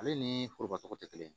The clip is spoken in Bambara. Ale ni foroba tɔgɔ tɛ kelen ye